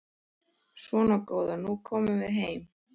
Svona góða, nú komum við heim.